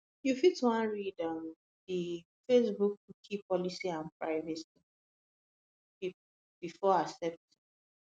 you fit wan read um di facebookcookie policyandprivacy policyandprivacy policybefore accepting